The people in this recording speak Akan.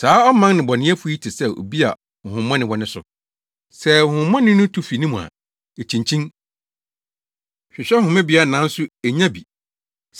“Saa ɔman nnebɔneyɛfo yi te sɛ obi a honhommɔne wɔ ne so. Sɛ honhommɔne no tu fi ne mu a, ekyinkyin, hwehwɛ homebea nanso ennya bi.